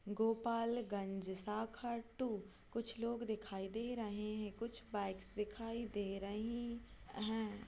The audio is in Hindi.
गोपालगंज शाखा टू कुछ लोग दिखाई दे रहे है कुछ बाइक्स दिखाई दे रही है।